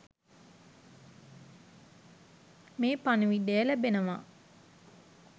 මේ පණිවිඩය ලැබෙනවා